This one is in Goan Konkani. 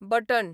बटण